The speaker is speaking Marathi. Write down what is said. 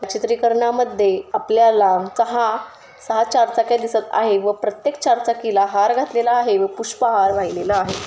चित्रीकरना मध्ये आपल्याला दहा सहा चारचाक्या दिसत आहेत. व प्रत्तेक चार चाकीला हार घातलेला आहेत. व पुष्पहार वाहिलेला आहे.